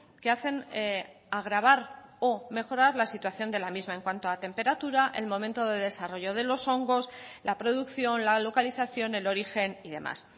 que hacen agravar o mejorar la situación de la misma en cuanto a temperatura el momento de desarrollo de los hongos la producción la localización el origen y demás